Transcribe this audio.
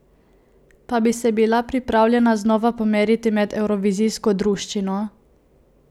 Pa bi se bila pripravljena znova pomeriti med evrovizijsko druščino?